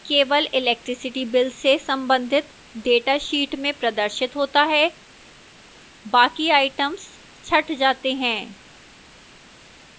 केवल electricity bill से संबंधित data sheet में प्रदर्शित होता है बाकी आइटम्स छंट जाते हैं